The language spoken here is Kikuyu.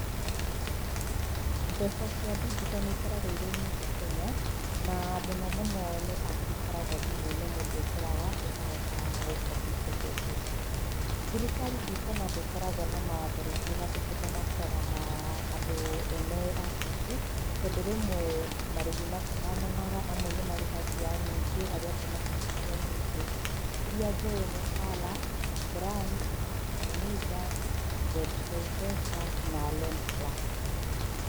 Mbeca cia digital nĩ ikoragwo irĩ nyingĩ Kenya, na mũno mũno nĩ apu ikoragwo thimũ-inĩ mũndũ ekĩraga, ũkahota gũkombithio mbeca ici. Thirikari ndikũona te ĩkoragwo na mawatho rĩngĩ ĩgathĩkĩte ma kũroraga andũ ene apu ici, tondũ rĩmwe marĩhi matihananaga, amwe nĩ marĩhagia nyingĩ, arĩa angĩ matirĩhagia nyingĩ. Iria njũĩ nĩ TALA, Branch, Timiza, ZK Pesa na LendPlus.